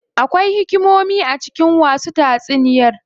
Akwai hikimomi a cikin wasu tatsuniyar.